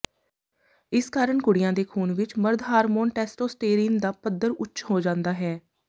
ਇਸ ਕਾਰਨ ਕੁੜੀਆਂ ਦੇ ਖ਼ੂਨ ਵਿਚ ਮਰਦ ਹਾਰਮੋਨ ਟੈਸਟੋਸਟੇਰੀਨ ਦਾ ਪੱਧਰ ਉੱਚ ਹੋ ਜਾਂਦਾ ਹੈ